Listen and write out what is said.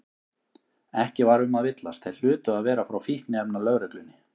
Ekki var um að villast, þeir hlutu að vera frá Fíkniefnalögreglunni.